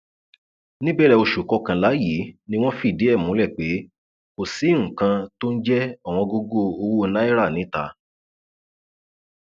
níbẹrẹ oṣù kọkànlá yìí ni wọn fìdí ẹ múlẹ pé kò sí nǹkan tó ń jẹ ọwọngógó owó náírà níta